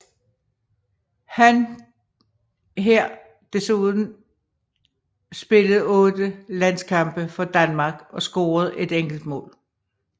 Han her desuden spillet 8 landskampe for Danmark og scoret et enkelt mål